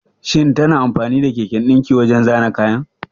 Shin tana amfani da keken dinki wajen zana kayan?